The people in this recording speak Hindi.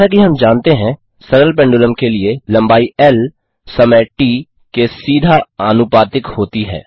जैसा कि हम जानते हैं सरल पेंडुलम के लिए लम्बाई ल समय ट के सीधा आनुपातिक होती है